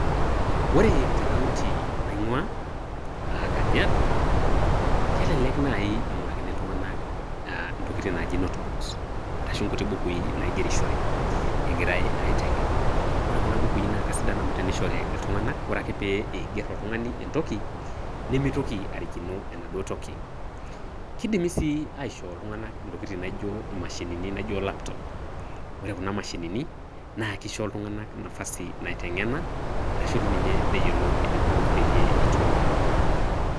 Ore te kaunti naing'ua, ah kajiado, kelelek nai ing'urakini iltung'anak intokiting' naaji note books ashu inkuti bukui naigerishore egirai aiteng'en. Ore kuna bukui na kasidan amu tenishori iltung'anak, ore ake pe iiger oltung'ani entoki, nimitoki arikino enaduo toki. Kidimi sii aishoo iltung'anak intokitin naijo imashinini naijo laptop. Ore kuna mashinini, na kisho iltung'anak nafasi naiteng'ena, arashu tininye neyiolou eneiko peyie itumia.